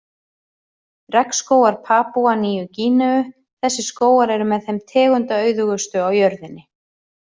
Regnskógar Papúa Nýju-Gíneu Þessir skógar eru með þeim tegundaauðugustu á jörðinni.